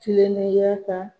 Kilennenya ka